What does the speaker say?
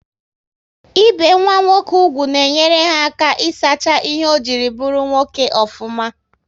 Ị be nwa nwoke úgwù na enyere ha aka isacha ihe ọ jiri bụrụ nwoke ofuma